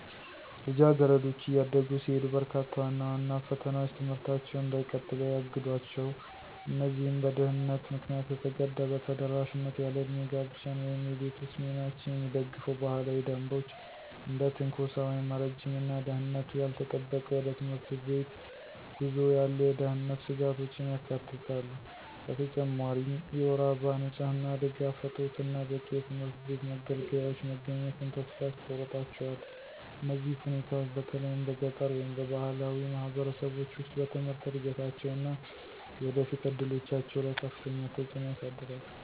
ልጃገረዶች እያደጉ ሲሄዱ፣ በርካታ ዋና ዋና ፈተናዎች ትምህርታቸውን እንዳይቀጥሉ ያግዷቸው። እነዚህም በድህነት ምክንያት የተገደበ ተደራሽነት፣ ያለዕድሜ ጋብቻን ወይም የቤት ውስጥ ሚናዎችን የሚደግፉ ባህላዊ ደንቦች፣ እና እንደ ትንኮሳ ወይም ረጅም እና ደህንነቱ ያልተጠበቀ ወደ ትምህርት ቤት ጉዞ ያሉ የደህንነት ስጋቶችን ያካትታሉ። በተጨማሪም የወር አበባ ንጽህና ድጋፍ እጦት እና በቂ የትምህርት ቤት መገልገያዎች መገኘትን ተስፋ ያስቆርጣቸዋል። እነዚህ ሁኔታዎች፣ በተለይም በገጠር ወይም በባህላዊ ማህበረሰቦች ውስጥ፣ በትምህርት እድገታቸው እና የወደፊት እድሎቻቸው ላይ ከፍተኛ ተጽዕኖ ያሳድራል።